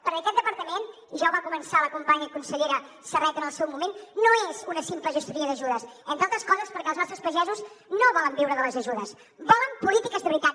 perquè aquest departament ja ho va començar la companya i consellera serret en el seu moment no és una simple gestoria d’ajudes entre altres coses perquè els nostres pagesos no volen viure de les ajudes volen polítiques de veritat